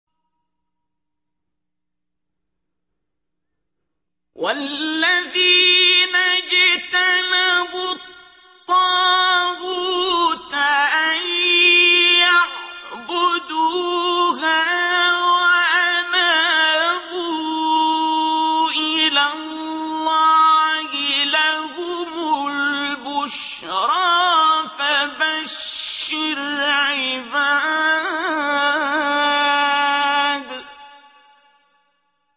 وَالَّذِينَ اجْتَنَبُوا الطَّاغُوتَ أَن يَعْبُدُوهَا وَأَنَابُوا إِلَى اللَّهِ لَهُمُ الْبُشْرَىٰ ۚ فَبَشِّرْ عِبَادِ